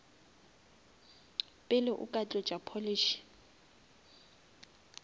pele o ka tlotša polish